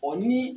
Ɔ ni